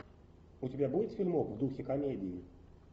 у тебя будет фильмок в духе комедии